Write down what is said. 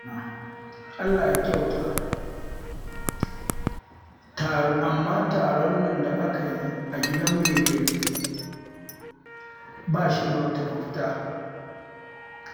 Allah ya kyauta, amma taron nan da aka yi a gidan mai gari, ba shi da wata manufa